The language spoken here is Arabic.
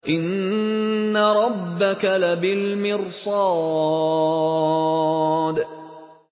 إِنَّ رَبَّكَ لَبِالْمِرْصَادِ